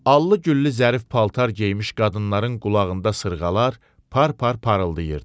Allı-güllü zərif paltar geymiş qadınların qulağında sırğalar par-par parıldayırdı.